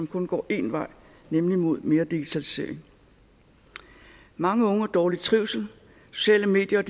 kun går én vej nemlig mod mere digitalisering mange unge har dårlig trivsel sociale medier